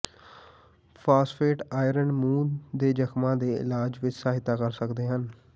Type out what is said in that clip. phosphate iron ਮੂੰਹ ਦੇ ਜ਼ਖਮਾਂ ਦੇ ਇਲਾਜ ਵਿਚ ਸਹਾਇਤਾ ਕਰ ਸਕਦੇ ਹਨ